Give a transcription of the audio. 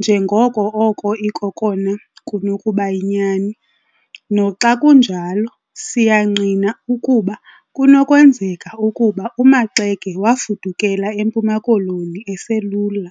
njengoko oko ikokona kunokubayinyani. Noxa kunjalo, siyangqina ukuba kunokwenzeka ukuba uMaxeke wafudukela eMpuma Koloni eselula.